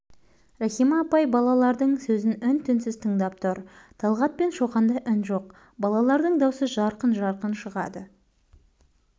рахима апай балалардың сөзін үн-түнсіз тыңдап тұр талғат пен шоқанда үн жоқ балалардың даусы жарқын-жарқын шығады